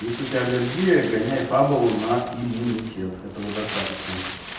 если у тебя аллергия гоняй фабулу на иммунитет этого достаточно